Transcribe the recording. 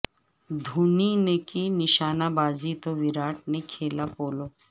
دھونی نے کی نشانہ بازی تو وراٹ نے کھیلا پولو